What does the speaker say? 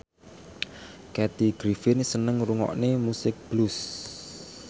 Kathy Griffin seneng ngrungokne musik blues